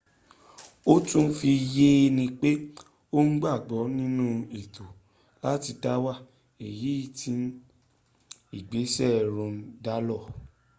ó tún fi yé ni pé òun gbàgbọ́ ninú ẹ̀tọ́ láti dáwà èyí tí ìgbésẹ̀ roe dálór